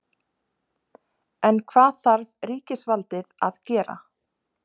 En hvað þarf ríkisvaldið að gera?